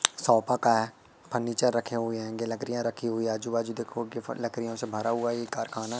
sofa का है furniture रखे हुए हैं ये लकरियां रखी हुई आजू बाजू देखो उनके फर लकरियों से भरा हुआ ये कारखाना--